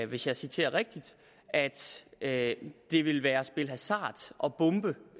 hvis jeg citerer rigtigt at det ville være at spille hasard at bombe